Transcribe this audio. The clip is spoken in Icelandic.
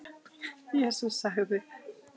Jesús sagði:.